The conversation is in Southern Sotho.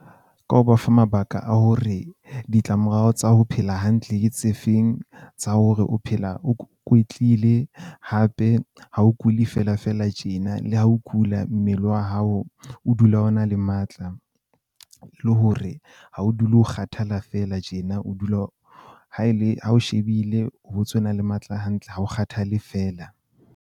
Ka ho ba fa mabaka a hore ditlamorao tsa ho phela hantle ke tse feng. Tsa hore o phela o kwetlile hape ha o kuli fela fela tjena, le ha o kula, mmele wa hao o dula o na le matla. Le hore ha o dule o kgathala fela tjena, o dula o ha e le ha o shebile ho le matla hantle ha o kgathale feela.